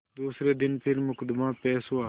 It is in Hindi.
दूसरे दिन फिर मुकदमा पेश हुआ